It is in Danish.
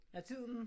Er tiden?